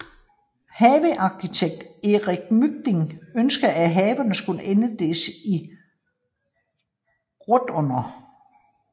Havearkitekt Erik Mygind ønskede at haverne skulle inddeles i rotunder